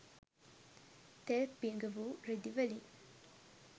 තෙල් පෙඟවූ රෙදි වලින්